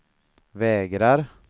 vägrar